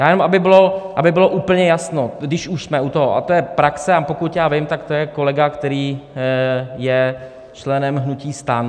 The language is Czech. Já jenom, aby bylo úplně jasno, když už jsme u toho, a to je praxe, a pokud já vím, tak to je kolega, který je členem hnutí STAN.